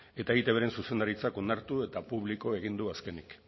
eta eitbren zuzendaritzak onartu eta publiko egin du azkenik